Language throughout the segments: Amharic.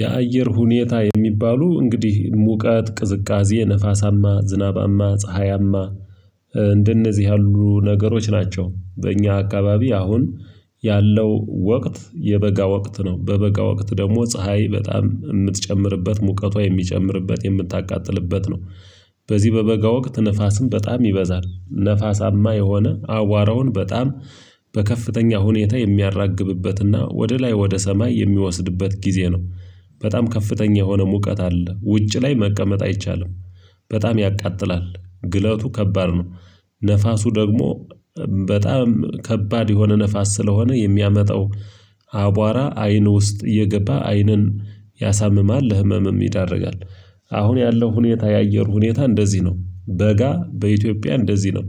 የአየር ሁኔታ የሚባሉ እንግዲህ ሙቀት ቅዝቃዜ ነፋሳማ ዝናባማ ፀሀያማ እንደነዚህ ያሉ ነገሮች ናቸው። እኛ አካባቢ አሁን ያለው ወቅት የበጋ ወቅት ነው። በበጋ ወቅት ደግሞ ፀሀይ በጣም የምትጨምርበት ሙቀቷ የሚጨምርበት የምታቃጥልበት ነው። በዚህ በበጋ ወቅት ንፋስም በጣም ይበዛል ንፋሳማ የሆነ አዋራውን በጣም በከፍተኛ ሁኔታ የሚያራግብበትና ወደ ላይ ወደ ሰማይ የሚወስድበት ጊዜ ነው። በጣም ከፍተኛ የሆነ ሙቀት አለ ውጭ ላይ መቀመጥ አይቻልም። በጣም ያቃጥላል ግለቱ ከባድ ነው። ነፋሱ ደግሞ በጣም ከባድ የሆነ ነፋስ ስለሆነ የሚያመጣው አቧራ አይን ውስጥ እየገባ አይንን ያሳምማል ለህመምም ይዳርጋል። አሁን ያለው ሁኔታ የአየር ሁኔታ እንደዚህ ነው በጋ በኢትዮጵያ እንደዚህ ነው።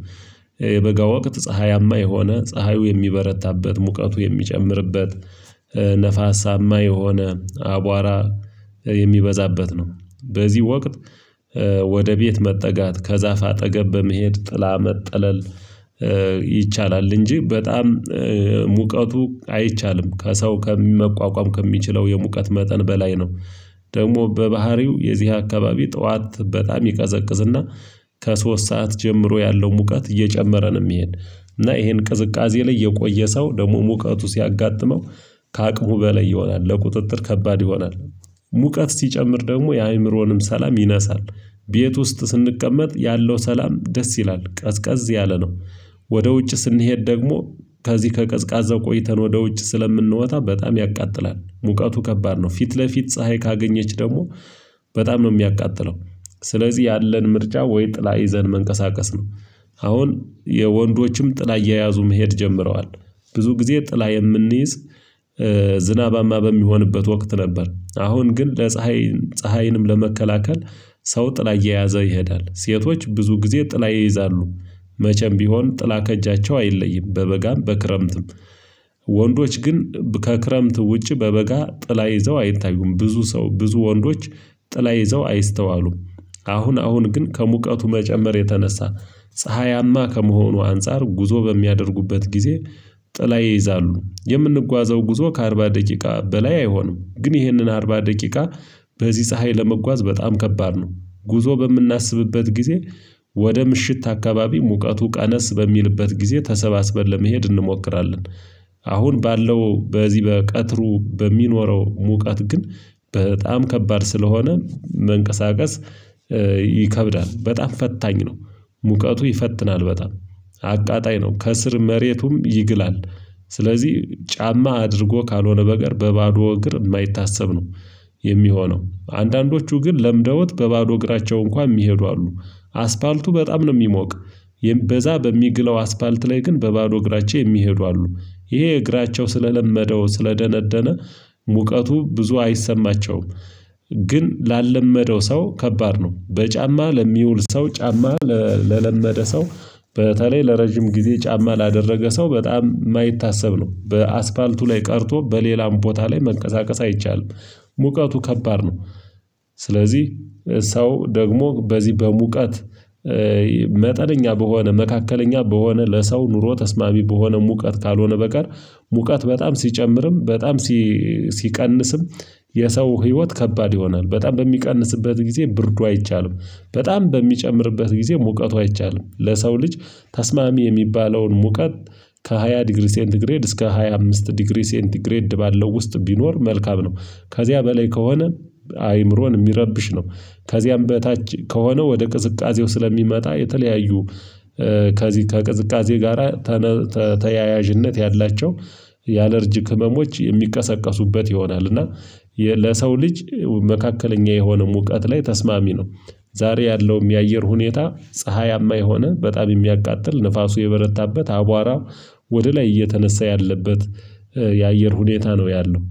የበጋ ወቅት ፀሀያማ የሆነ ፀሀዩ የሚበረታበት ሙቀቱ የሚጨምርበት ነፋሳማ የሆነ አቧራ የሚበዛበት ነው። በዚህ ወቅት ወደ ቤት መጠጋት ከዛፍ አጠገብ በመሄድ ጥላ መጠለል ይቻላል እንጂ በጣም ሙቀቱ አይቻልም ከሰው ከመቋቋም ከሚችለው የሙቀት መጠን በላይ ነው። ደግሞ በባህሪው የዚህ አካባቢ ጠዋት በጣም ይቀዘቅዝና ከሶስት ሰዓት ጀምሮ ያለው ሙቀት እየጨመረ ነው ሚሄድ። እና ይሄን ቅዝቃዜ ላይ የቆየ ሰው ደግሞ ሙቀቱ ሲያጋጥመው ከአቅሙ በላይ ይሆናል ለቁጥጥር ከባድ ይሆናል። ሙቀት ሲጨምር ደግሞ የአእምሮንም ሰላም ይነሳል። ቤት ውስጥ ስንቀመጥ ያለው ሰላም ደስ ይላል ቀዝቃዝ ያለ ነው። ወደ ውጭ ስንሄድ ደግሞ ከዚህ ከቀዝቃዛ ቆይተን ወደ ውጭ ስለምንወጣ በጣም ያቃጥላል ሙቀቱ ከባድ ነው ፊት ለፊት ፀሀይ ካገኘች ደግሞ በጣም ነው የሚያቃጥለው። ስለዚህ ያለን ምርጫ ወይ ጥላ ይዘን መንቀሳቀስ ነው። አሁን የወንዶችም ጥላ እየያዙ መሄድ ጀምረዋል። ብዙ ጊዜ ጥላ የምንይዝ ዝናባማ በሚሆንበት ወቅት ነበር። አሁን ግን ለፀሀይ ፀሀይንም ለመከላከል ሰው ጥላ እየያዘ ይሄዳል ሴቶች ብዙ ጊዜ ጥላ ይይዛሉ። መቼም ቢሆን ጥላ ከእጃቸው አይለይም በበጋም በክረምትም። ወንዶች ግን ከክረምት ውጪ በበጋ ጥላ ይዘው አይታዩም ብዙ ሰው ብዙ ወንዶች ጥላ ይዘው አይስተዋሉም። አሁን አሁን ግን ከሙቀቱ መጨመር የተነሳ ፀሀያማ ከመሆኑ አንፃር ጉዞ በሚያደርጉበት ጊዜ ጥላ ይይዛሉ። የምንጓዘው ጉዞ ከአርባ ደቂቃ በላይ አይሆንም ግን ይህንን አርባ ደቂቃ። በዚህ ፀሀይ ለመጓዝ በጣም ከባድ ነው። ጉዞ በምናስብበት ጊዜ ወደ ምሽት አካባቢ ሙቀቱ ቀነስ በሚልበት ጊዜ ተሰባስበን ለመሄድ እንሞክራለን። አሁን ባለው በዚህ በቀትሩ በሚኖረው ሙቀት ግን በጣም ከባድ ስለሆነ መንቀሳቀስ ይከብዳል በጣም ፈታኝ ነው። ሙቀቱ ይፈትናል በጣም አቃጣይ ነው ከስር መሬቱም ይግላል። ስለዚህ ጫማ አድርጎ ካልሆነ በቀር በባዶ እግር የማይታሰብ ነው። የሚሆነው አንዳንዶቹ ግን ለምደውት በባዶ እግራቸው እንኳን የሚሄዱ አሉ። አስፓልቱ በጣም ነው ሚሞቅ። በዛ በሚግለው አስፓልት ላይ ግን በባዶ እግራቸው የሚሄዱ አሉ። ይሄ እግራቸው ስለለመደው ስለደነደነ ሙቀቱ ብዙ አይሰማቸውም። ግን ላለመደው ሰው ከባድ ነው በጫማ ለሚውል ሰው ጫማ ለለመደ ሰው። በተለይ ለረጅም ጊዜ ጫማ ላደረገ ሰው በጣም የማይታሰብ ነው በአስፓልቱ ላይ ቀርቶ በሌላም ቦታ ላይ መንቀሳቀስ አይቻልም። ሙቀቱ ከባድ ነው። ስለዚህ ሰው ደግሞ በዚህ በሙቀት መጠነኛ በሆነ መካከለኛ በሆነ ለሰው ኑሮ ተስማሚ በሆነ ሙቀት ካልሆነ በቀር ሙቀት በጣም ሲጨምርም በጣም ሲቀንስም የሰው ህይወት ከባድ ይሆናል። በጣም በሚቀንስበት ጊዜ ብርዱ አይቻልም። በጣም በሚጨምርበት ጊዜ ሙቀቱ አይቻልም ለሰው ልጅ ተስማሚ የሚባለውን ሙቀት ከሃያ ዲግሪ ሴንትግሬድ እስከ ሃያ አምስት ዲግሪ ሴንትግሬድ ባለው ውስጥ ቢኖር መልካም ነው። ከዚያ በላይ ከሆነ አይምሮን የሚረብሽ ነው። ከዚያም በታች ከሆነ ወደ ቅዝቃዜው ስለሚመጣ የተለያዩ ከዚህ ከቅዝቃዜ ጋራ ተያያዥነት ያላቸው የአለርጂክ ህመሞች የሚቀሰቀሱበት ይሆናል። እና ለሰው ልጅ መካከለኛ የሆነ ሙቀት ላይ ተስማሚ ነው። ዛሬ ያለውም የአየር ሁኔታ ፀሀያማ የሆነ በጣም የሚያቃጥል ንፋሱ የበረታበት አቧራ ወደ ላይ እየተነሳ ያለበት የአየር ሁኔታ ነው ያለው